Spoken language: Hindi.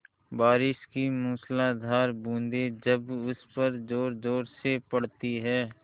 बारिश की मूसलाधार बूँदें जब उस पर ज़ोरज़ोर से पड़ती हैं